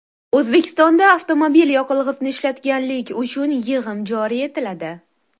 O‘zbekistonda avtomobil yoqilg‘isini ishlatganlik uchun yig‘im joriy etiladi.